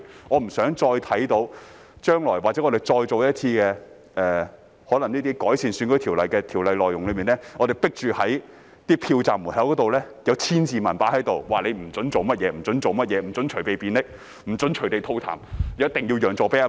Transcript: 我不想看到將來我們要再做一趟改善選舉條例，被迫在內容中訂明要在票站門外貼出千字文，指明不准做甚麼、不准做甚麼、不准隨地便溺、不准隨地吐痰、一定要讓座給婆婆。